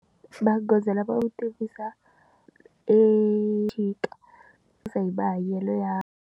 Magoza lama u tivisa exikarhi hi mahanyelo ya.